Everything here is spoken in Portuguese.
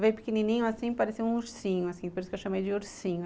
Veio pequenininho assim, parecia um ursinho, assim, por isso que eu chamei de ursinho.